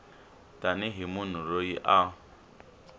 tani hi munhu loyi a